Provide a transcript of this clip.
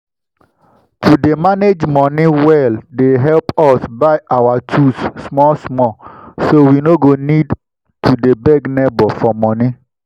to dey manage money well dey help us buy our tools small small so we no go need to dey beg neighbor for money.